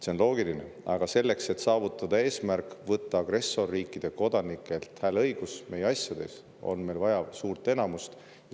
See on loogiline, aga selleks, et saavutada eesmärk, võtta agressorriikide kodanikelt hääleõigus meie asjades, on meil vaja suurt enamust.